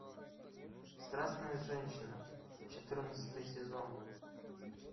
страстная женщина четырнадцатый сезон